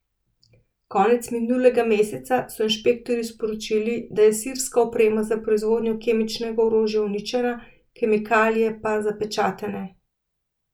Konec minulega meseca so inšpektorji sporočili, da je sirska oprema za proizvodnjo kemičnega orožja uničena, kemikalije pa zapečatene.